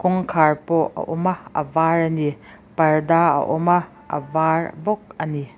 kawngkhar pawh a awm a a var ani parda a awm a a var bawk ani.